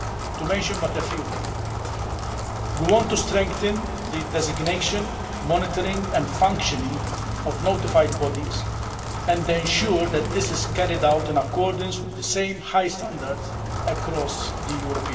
To mention but a few we want to strengthen the designation, monitoring and functioning of notified bodies and ensure that this is carried out in accordance with the same high standards across the EU